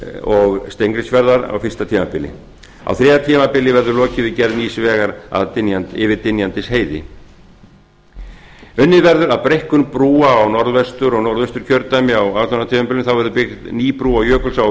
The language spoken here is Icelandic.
og steingrímsfjarðar á fyrsta tímabili á þriðja tímabili verður lokið við gerð nýs vegar yfir dynjandisheiði unni verður að breikkun brúa á norðvestur og norðausturkjördæmi á tímabilinu þá verður byggð ný brú á jökulsá á